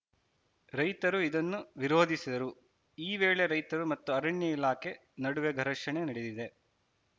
ರೈತರು ಇದನ್ನು ವಿರೋಧಿಸಿದರು ಈ ವೇಳೆ ರೈತರು ಮತ್ತು ಅರಣ್ಯ ಇಲಾಖೆ ನಡುವೆ ಘರ್ಷಣೆ ನಡೆದಿದೆ